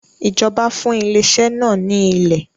Ìjọba fún ilé iṣẹ́ náà ní ilè.